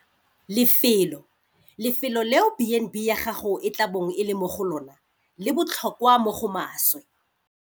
Lefelo - Lefelo leo B and B ya gago e tla bong e le mo go lona le botlhokwa mo go maswe.